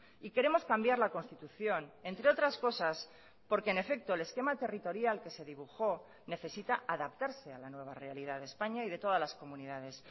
y queremos cambiar la constitución entre otras cosas porque en efecto el esquema territorial que se dibujó necesita adaptarse a la nueva realidad de españa y de todas las comunidades